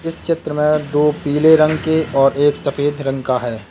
इस चित्र में दो पीले रंग के और एक सफेद रंग का है।